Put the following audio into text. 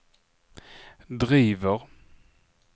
driver